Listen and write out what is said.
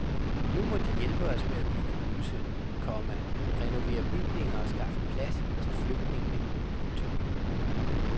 Nu må de hjælpe os med at bygge huse, komma renovere bygninger og skaffe plads til flygtningene. punktum